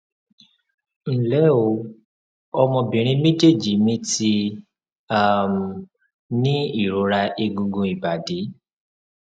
nle o ọmọbìnrin mejeeji mi ti um ní ìrora egungun ibadi